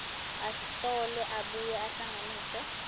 ahlole abuye ahlanganise